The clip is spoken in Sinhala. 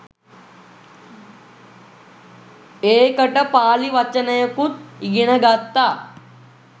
ඒකට පාළි වචනයකුත් ඉගෙන ගත්තා.